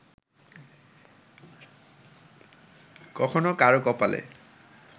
কখনো কারও কপালে